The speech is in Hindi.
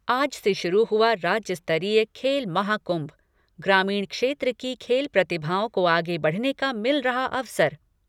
आज से शुरू हुआ राज्यस्तरीय खेल महाकुंभ। ग्रामीण क्षेत्र की खेल प्रतिभाओं को आगे बढ़ने का मिल रहा अवसर।